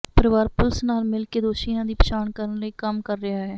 ਪਰਿਵਾਰ ਪੁਲਿਸ ਨਾਲ ਮਿਲ ਕੇ ਦੋਸ਼ੀਆਂ ਦੀ ਪਛਾਣ ਕਰਨ ਲਈ ਕੰਮ ਕਰ ਰਿਹਾ ਹੈ